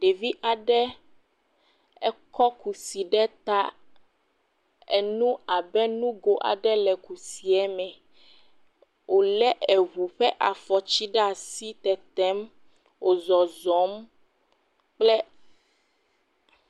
Ɖevi aɖe, ekɔ kusi ɖe ta, enu abe nugo aɖe le kusie me, wòlé eŋu ƒe afɔti ɖe asi le tetem, wo zɔzɔm kple…